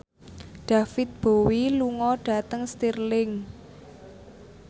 David Bowie lunga dhateng Stirling